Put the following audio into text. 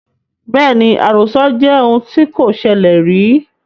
Bẹ́ẹ̀ni, àròsọ jẹ́ ohun tí kò ṣẹlẹ rìí